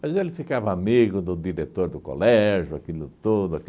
Mas ele ficava amigo do diretor do colégio, aquilo tudo.